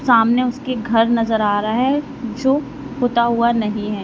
सामने उसके घर नजर आ रहा है जो पोता हुआ नहीं है।